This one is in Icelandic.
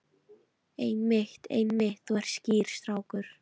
Einmitt, einmitt, þú ert skýr strákur.